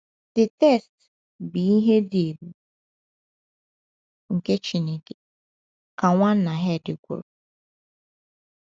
“ the text bụ ihe dị ebube nke Chineke, ” ka Nwanna Herd kwuru.